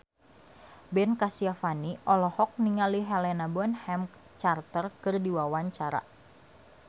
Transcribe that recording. Ben Kasyafani olohok ningali Helena Bonham Carter keur diwawancara